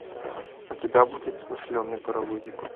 у тебя будет смышленый паровозик